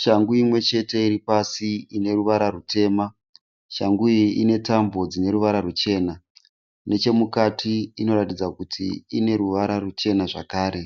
Shangu imwe chete iri pasi ine ruvara rwuchena. Shangu iyi ine ruvara ruchena. Nechemukati inoratidza kuti ine ruvara ruchena zvakare.